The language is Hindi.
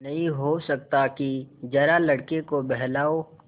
नहीं हो सकता कि जरा लड़के को बहलाओ